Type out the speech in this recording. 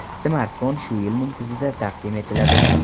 Smartfon shu yilning kuzida taqdim etiladi.